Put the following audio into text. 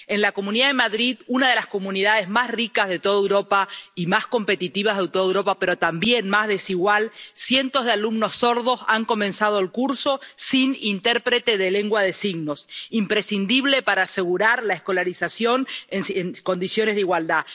En la Comunidad de Madrid, una de las comunidades más ricas de toda Europa y más competitivas de toda Europa, pero también más desigual, cientos de alumnos sordos han comenzado el curso sin intérprete de lengua de signos, lo que es imprescindible para asegurar la escolarización en condiciones de igualdad.